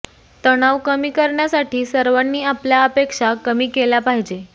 तणाव कमी करण्यासाठी सर्वांनी आपल्या अपेक्षा कमी केल्या पाहिजे